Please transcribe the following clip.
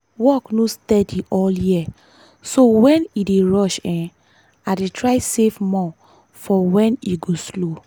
work no steady all year so when e dey rush um i dey try save more for when e go slow.